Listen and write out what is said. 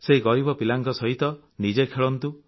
ସେହି ଗରିବ ପିଲାଙ୍କ ସହିତ ନିଜେ ଖେଳନ୍ତୁ